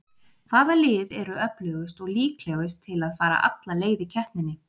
Hvaða lið eru öflugust og líklegust til að fara alla leið í keppninni?